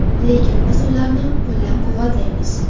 Lekin biz ularni qo‘llab-quvvatlaymiz”.